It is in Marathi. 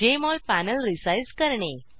जेएमओल पॅनल रिसाईज करणे